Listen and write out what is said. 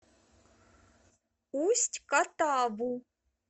усть катаву